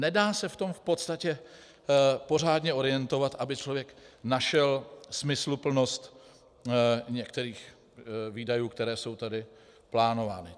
Nedá se v tom v podstatě pořádně orientovat, aby člověk našel smysluplnost některých výdajů, které jsou tady plánovány.